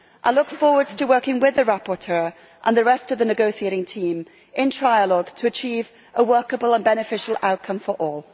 I look forward to working with the rapporteur and the rest of the negotiating team in trilogue to achieve a workable and beneficial outcome for all.